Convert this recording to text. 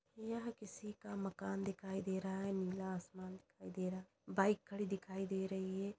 यह किसी का मकान दिखाई दे रहा है। नीला आसमान दिखाई दे रहा है। बाइक खड़ी दिखाई दे रही है।